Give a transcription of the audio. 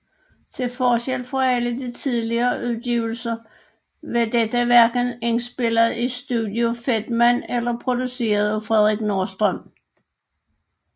Til forskel fra alle de tidligere udgivelser var dette hverken indspillet i Studio Fedman eller produceret af Fredrik Nordström